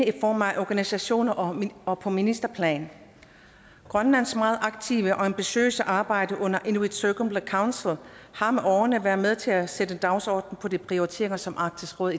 i form af organisationer og og på ministerplan grønlands meget aktive og ambitiøse arbejde under inuit circumpolar councel har med årene været med til at sætte dagsordenen på de prioriteringer som arktisk råd